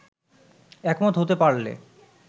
একমত হতে পারলে